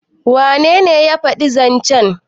wanene ya faɗi zancen?